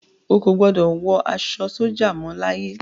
Ó kò gbọ́dọ̀ wọ aṣọ sójà mọ láyé.